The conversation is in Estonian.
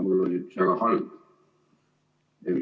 Mul on üks väga halb.